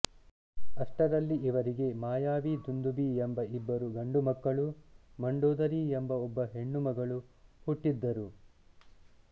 ಅಷ್ಟರಲ್ಲಿ ಇವರಿಗೆ ಮಾಯಾವಿ ದುಂದುಭಿ ಎಂಬ ಇಬ್ಬರು ಗಂಡುಮಕ್ಕಳೂ ಮಂಡೋದರಿ ಎಂಬ ಒಬ್ಬ ಹೆಣ್ಣುಮಗಳೂ ಹುಟ್ಟಿದ್ದರು